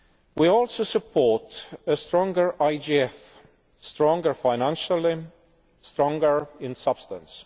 We also support a stronger IGF, stronger financially, stronger in substance.